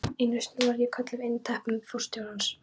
Einu sinni var ég kölluð inn á teppi til forstjórans.